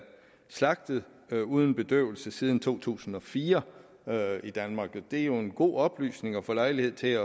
slagtet uden bedøvelse siden to tusind og fire i danmark det er jo en god oplysning at få lejlighed til